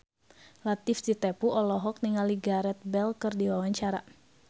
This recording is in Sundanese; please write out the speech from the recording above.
Latief Sitepu olohok ningali Gareth Bale keur diwawancara